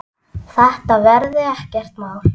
Þetta verði ekkert mál.